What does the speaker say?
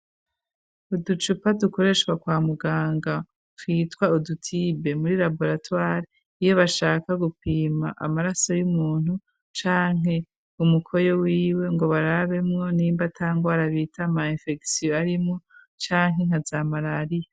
Uducupa dukoreshwa kwa muganga kwitwa udutibe muri labolatuali iyo bashaka gupima amaraso y'umuntu canke umukoyo wiwe ngo barabemwo n'imba tangwarabita mayimfeksiyo arimwo canke nkazamarariya.